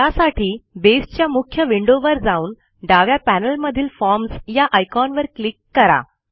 त्यासाठी बेसच्या मुख्य विंडोवर जाऊन डाव्या पॅनेलमधील फॉर्म्स या आयकॉनवर क्लिक करा